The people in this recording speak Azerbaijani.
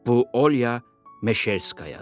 Bu Olya Meşerskoyadır.